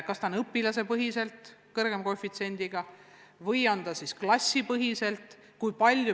Kas arvestus peaks olema õpilasepõhine või on klassipõhine?